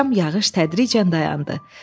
Axşam yağış tədricən dayandı.